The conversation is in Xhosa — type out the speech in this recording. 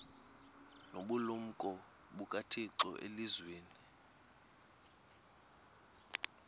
nobulumko bukathixo elizwini